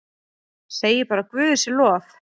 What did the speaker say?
Segi bara guði sé lof.